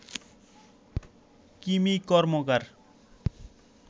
Kimi Karmakar